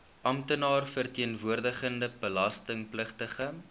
amptenaar verteenwoordigende belastingpligtige